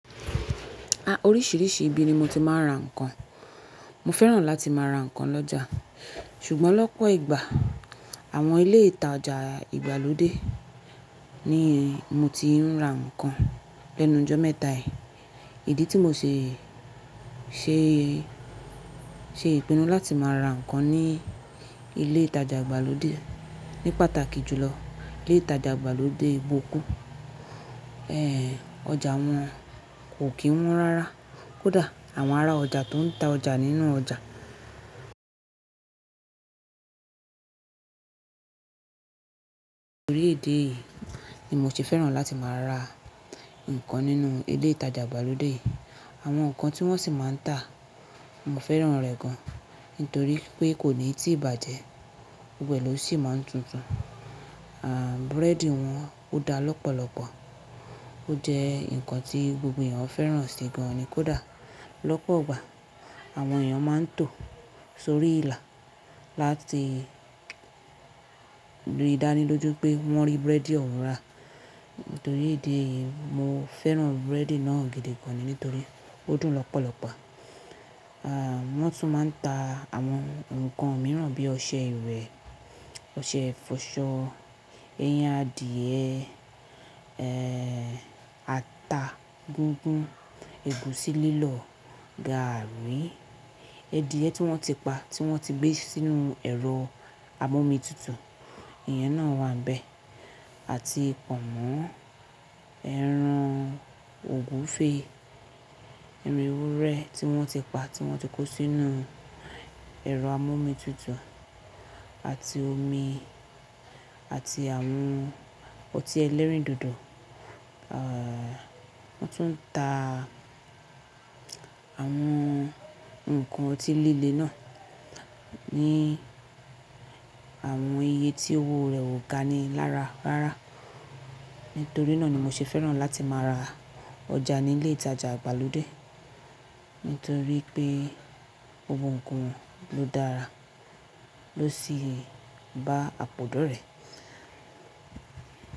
Oríṣìíríṣìí ibi ni mo ti máa ń ra ǹkan. Mo fẹ́ràn láti máa ra ǹkan lọ́jà, ṣùgbọ́n lọ́pọ̀ ìgbà àwọn ilé ìtajà ìgbàlódé ni mo ti ń ra ǹkan lẹ́nu jọ́ mẹ́ta yìí. Ìdí tí mo ṣe, ṣe, ṣe ìpinnu láti má ra ǹkan ní ilé ìtajà ìgbàlódé ní pàtàkì jùlọ ilé ìtajà ìgbàlódé bokku. Ọjà wọn kò kí wọ́n rárá. Kódà àwọn ará ọjà tó ń ta ọjà nínú ọjà nítorí ìdí yìí ni mo ṣe fẹ́ràn láti máa ra ǹkan nínú ilé ìtajà ìgbàlódé yì. Àwọn ǹkan tí wọ́n sì máa ń tà mo fẹ́ràn rẹ̀ gan-an, nítorí pé kò níì tí ì bàjẹ́, gbogbo e ló sì máa ń tuntun. Búrẹ́dì wọn ó dá lọ́pọ̀lọpọ̀, ó jẹ́ ǹkan tí gbogbo èèyàn ó fẹ́ràn sì gan-an ni kódà lọ́pọ̀ ìgbà àwọn èèyàn máa ń tò sórí ìlà láti rí dánilójú pé wọ́n rí búrẹ́dì ọ̀wun rà. Nítorí ìdí eyìí mo fẹ́ràn búrẹ́dì náà gidi gan-an, nítorí ó dùn lọ́pọ̀lọpọ̀. Wọ́n tún máa ń ta àwọn ǹkan mìíràn bí ọṣẹ ìwẹ̀, ọṣẹ ìfọṣọ, ẹyin adìyẹ, ata gugún, ẹ̀gúsí lílọ̀, gàárì, edìyẹ tí wọ́n ti pa tí wọ́n ti gbé sínú ẹ̀rọ amọ́mitutù, iyen náà wà ń bẹ̀ àti Pọ̀nmọ́, ẹran ògúnfe, eran ewuré tí wọ́n ti pa tí wọ́n ti kó sínú ẹ̀rọ amọ́mitutù àti omi àti àwọn ọtí ẹlẹ́rìndòdò wọ́n tún ń ta àwọn ǹkan ọtí líle náà ní àwọn iye tí owó rẹ̀ ò ga ni lára rárá. Nítorí náà ni mo ṣe fẹ́ràn láti má ra ọjà ní ilé ìtajà ìgbàlódé, nítorí pé gbogbo ǹkan won ló dára, ló sì bá àpòdò rẹ̀.